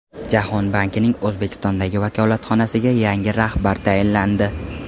Jahon bankining O‘zbekistondagi vakolatxonasiga yangi rahbar tayinlandi.